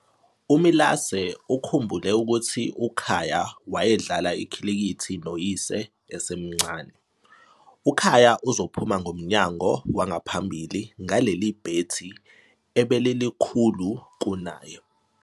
UMilase ukhumbule ukuthi uKhaya wayedlala ikhilikithi noyise esemncane, "UKhaya uzophuma ngomnyango wangaphambili ngaleli bhethi ebelilikhulu kunaye."